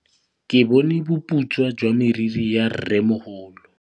Ke bone boputswa jwa meriri ya rrêmogolo.